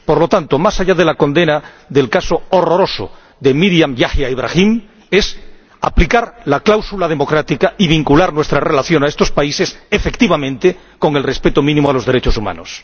Por lo tanto, más allá de la condena del caso horroroso de Meriam Yahia Ibrahim es aplicar la cláusula democrática y vincular nuestra relación a estos países efectivamente, con el respeto mínimo a los derechos humanos.